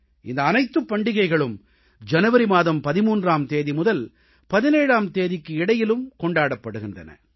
இந்த அனைத்துப் பண்டிகைகளும் ஜனவரி மாதம் 13ஆம் தேதி முதல் 17ஆம் தேதிக்கு இடையிலும் கொண்டாடப்படுகின்றன